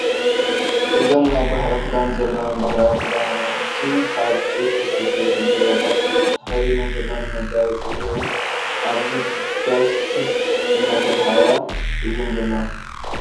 እዘን ናይ ባህሊ ክደን ዘለወን ባህላዊ ክዳውንቲ ካብ ጡጥ ዝተሰርሑ ዙርያታት ተከዲነን ዘለወን መጋየፂ ገይረን ኣብዚ ዳስ ሲስ (እንዳተላሃያ) እየን ዘለዋ።